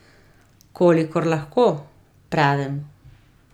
Kolikor lahko, pravim.